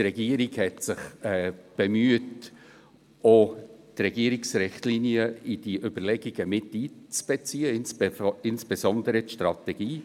Die Regierung bemühte sich, auch die Regierungsrichtlinien in die Überlegungen miteinzubeziehen, insbesondere die Strategie.